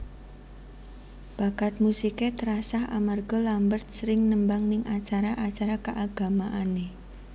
Bakat musiké terasah amarga Lambert sering nembang ning acara acara kaagamaanné